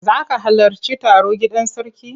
Za ka halarci taro gidan sarki?